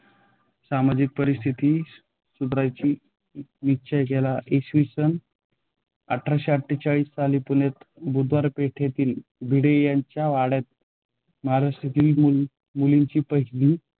सामाजिक परिस्थिती सुधराय़ची निश्चय केला. त्यांनी इ. स. आठरसे अठेचाळीस साली पुण्यामध्ये बुधवार पेठेती भिडे यांच्या वाड्यात महाराष्ट्रातील मुलीं मुलींची पहिली